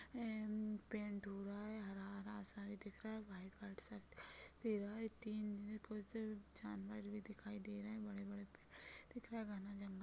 एम-म paint हुआ है हरा -हरा सा भी दिख रहा है व्हाइट -व्हाइट सा दिखाई दे रहा है तीन कुछ जानवर भी दिखाई दे रहे है बड़े-बड़े पेड़ दिख रहे है घना जंगल --